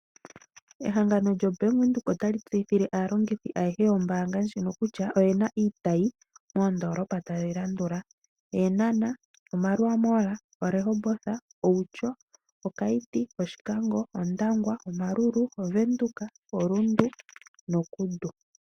Ehangano lyo bank windhoek otali tseyithile aalongithi ayehe yombanga ndjino oyena iitayi moondolopa tadhi landula Eenana, oMarua mall, oRehoboth, Outjo, Okayiti, Oshikango, Ondangwa, Omaruru, oVenduka, oRundu noKudu.